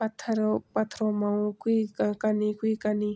पत्थररों पथरो मा वू क्वि कनी क्वि कनी।